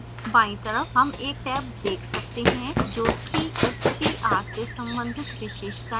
बायीं तरफ हम एक टैब देख सकते हैं जो cstr से सम्बंधित विशेषताएं दिखा रही है